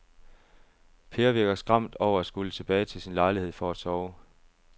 Per virker skræmt over at skulle tilbage til sin lejlighed for at sove.